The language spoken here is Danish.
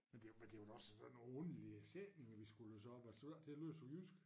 Men det men det var da også da nogen underlige sætninger vi skulle læse op altså synes da ik det lød så jysk